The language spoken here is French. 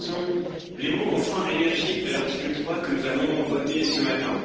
Ce sont les mots enfin énergiques de l'article 3 que nous allons voter ce matin.